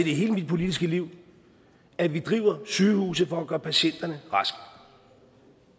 i hele mit politiske liv at vi driver sygehuse for at gøre patienterne raske